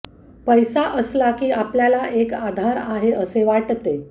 पैसा असला की आपल्याला एक आधार आहे असे वाटते